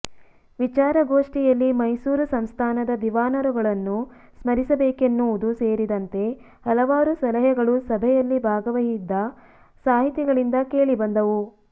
ವಿಚಾರ ಗೋಷ್ಠಿಯಲ್ಲಿ ಮೈಸೂರು ಸಂಸ್ಥಾನದ ದಿವಾನರುಗಳನ್ನು ಸ್ಮರಿಸಬೇಕೆನ್ನುವುದೂ ಸೇರಿದಂತೆ ಹಲವಾರು ಸಲಹೆಗಳು ಸಭೆಯಲ್ಲಿ ಭಾಗವಹಿದ್ದ ಸಾಹಿತಿಗಳಿಂದ ಕೇಳಿಬಂದವು